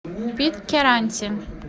питкяранте